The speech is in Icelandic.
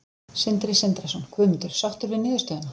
Sindri Sindrason: Guðmundur, sáttur við niðurstöðuna?